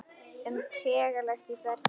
um trega lekt í bergi.